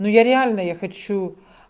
ну я реально я хочу